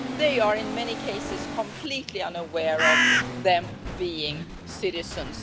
They are, in many cases, completely unaware that they are US citizens.